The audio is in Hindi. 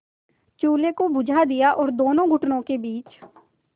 चूल्हे को बुझा दिया और दोनों घुटनों के बीच